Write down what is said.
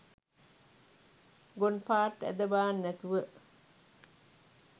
ගොන්පාර්ට් ඇද බාන්නැතුව.